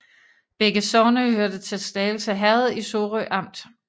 Begge sogne hørte til Slagelse Herred i Sorø Amt